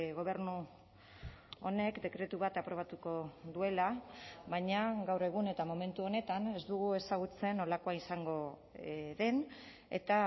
gobernu honek dekretu bat aprobatuko duela baina gaur egun eta momentu honetan ez dugu ezagutzen nolakoa izango den eta